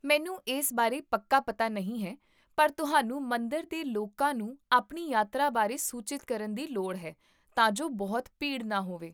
ਮੈਨੂੰ ਇਸ ਬਾਰੇ ਪੱਕਾ ਪਤਾ ਨਹੀਂ ਹੈ ਪਰ ਤੁਹਾਨੂੰ ਮੰਦਰ ਦੇ ਲੋਕਾਂ ਨੂੰ ਆਪਣੀ ਯਾਤਰਾ ਬਾਰੇ ਸੂਚਿਤ ਕਰਨ ਦੀ ਲੋੜ ਹੈ ਤਾਂ ਜੋ ਬਹੁਤ ਭੀੜ ਨਾ ਹੋਵੇ